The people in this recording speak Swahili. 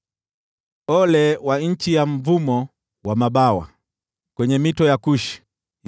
Ole kwa nchi ya mvumo wa mabawa, kando ya mito ya Kushi,